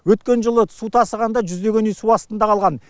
өткен жылы су тасығанда жүздеген үй су астында қалған